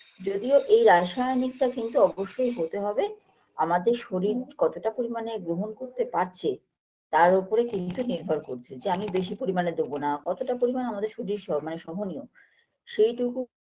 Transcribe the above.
যদিও এই রাসায়নিকটা কিন্তু অবশ্যই হতে হবে আমাদের শরীর কতটা পরিমাণে গ্ৰহণ করতে পারছে তার ওপরে কিন্তু নির্ভর করছে যে আমি বেশি পরিমাণে দেবোনা কতটা পরিমাণ আমাদের শরীর সহ মানে সহনীয় সেইটুকু